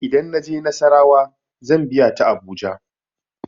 Idan na je nassarawa zan biya ta abuja.